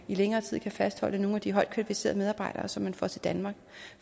i længere tid kan fastholde nogle af de højt kvalificerede medarbejdere som man får til danmark